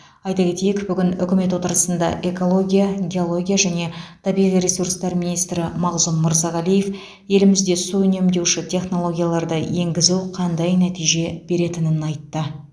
айта кетейік бүгін үкімет отырысында экология геология және табиғи ресурстар министрі мағзұм мырзағалиев елімізде су үнемдеуші технологияларды енгізу қандай нәтиже беретінін айтты